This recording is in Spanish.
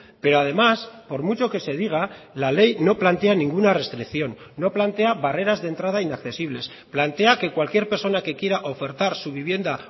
pero además por mucho que se diga la ley no plantea ninguna restricción no plantea barreras de entrada inaccesibles plantea que cualquier persona que quiera ofertar su vivienda